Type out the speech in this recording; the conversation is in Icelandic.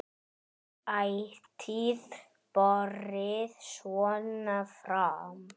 Ætíð borið svona fram.